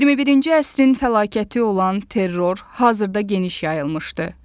21-ci əsrin fəlakəti olan terror hazırda geniş yayılmışdır.